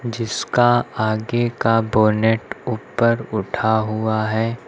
जिसका आगे का बोनेट ऊपर उठा हुआ है।